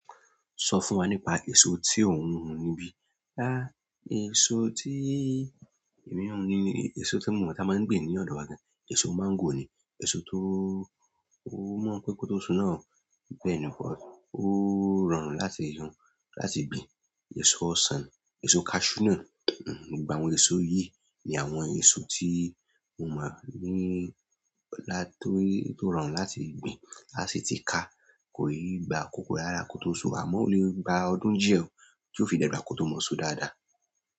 Sọ fún wa nípa èso tí ò ń hun níbí. Rárá, èso tí èmi ń hun ni èso tí mo mọ̀ tí a máa ń gbin ní ọ̀dọ̀ wa gan. Èso máńgò ni, èso tó mọ̀ pé kó tó so náà o, bẹ́ni, ó rọrùn láti hun, láti gbin. Èso ọsàn, èso kaṣú náà, gbogbo àwọn èso yìí ni àwọn èso tí mo mọ̀ ní lá tó rọrùn láti gbin. Láṣi tí ka kò í gba akókó rara kó tó so, àmọ́ ó le gba ọdún díẹ̀ o tí ó fi dàgbà kó tó mọ́ so dáadáa.